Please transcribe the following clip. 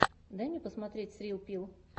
дай мне посмотреть срилл пилл